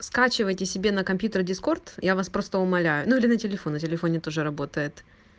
скачивайте себе на компьютер дискорд я вас просто умоляю ну или на телефон на телефоне тоже работает